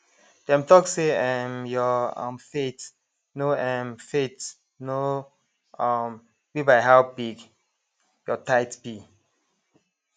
dem talk say um your um faith no um faith no um be by how big your tithe be